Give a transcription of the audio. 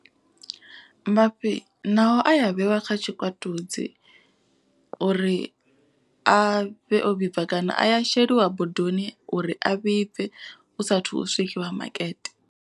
Mafhi nao aya vheiwa kha tshikwatudzi uri a vhe o vhibva. Kana a ya sheliwa bodoni uri a vhibve u saathu swikiwa makete.